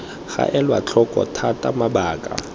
ga elwa tlhoko thata mabaka